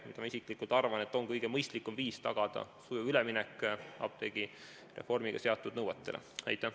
Ma isiklikult arvan, et see on kõige mõistlikum viis tagada sujuv üleminek sellele, et apteegireformiga seatud nõudeid täidetaks.